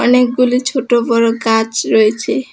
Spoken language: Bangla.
অনেকগুলি ছোট বড় গাছ রয়েছে।